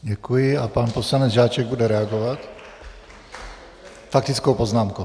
Děkuji a pan poslanec Žáček bude reagovat faktickou poznámkou.